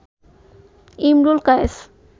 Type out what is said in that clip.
Imrul Kayes